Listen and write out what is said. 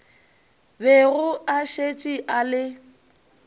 bego a šetše a le